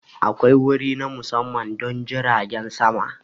Akwai wuri na musamman don jiragen sama.